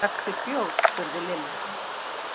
Drakkstu bjór? spurði Lilla.